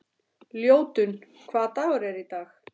Ljótunn, hvaða dagur er í dag?